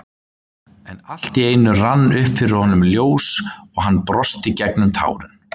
En allt í einu rann upp fyrir honum ljós og hann brosti gegnum tárin.